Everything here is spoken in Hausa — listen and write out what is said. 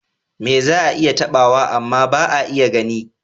Me za a iya taɓawa amma ba a iya gani?